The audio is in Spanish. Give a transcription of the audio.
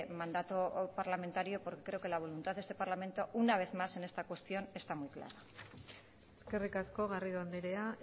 mandato parlamentario porque creo que la voluntad de este parlamento una vez más en esta cuestión está muy claro eskerrik asko garrido andrea